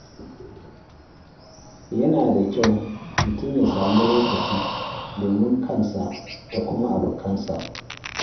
Yana da kyau mutum ya sami lokaci domin abokansa da kuma kansa.